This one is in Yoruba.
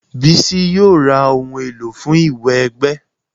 Bísí yóò ra ohun èlò fún ìwẹ̀ gbẹ